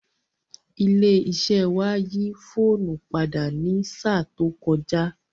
Ilé iṣẹ́ wa yí fóònù padà ní sáà tó kọjá